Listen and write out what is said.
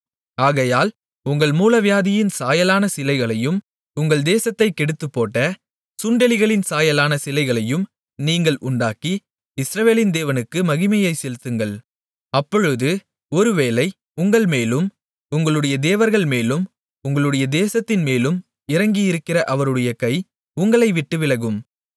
ஆகையால் உங்கள் மூலவியாதியின் சாயலான சிலைகளையும் உங்கள் தேசத்தைக் கெடுத்துப்போட்ட சுண்டெலிகளின் சாயலான சிலைகளையும் நீங்கள் உண்டாக்கி இஸ்ரவேலின் தேவனுக்கு மகிமையைச் செலுத்துங்கள் அப்பொழுது ஒருவேளை உங்கள் மேலும் உங்களுடைய தேவர்கள்மேலும் உங்களுடைய தேசத்தின்மேலும் இறங்கியிருக்கிற அவருடைய கை உங்களைவிட்டு விலகும்